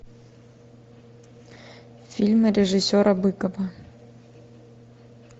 фильмы режиссера быкова